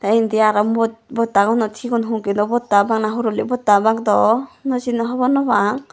tey indi aro bod bottaguno sigun hongilo botta bana horoli botta obak daw no sino hobor no pang.